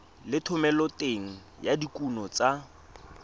le thomeloteng ya dikuno tsa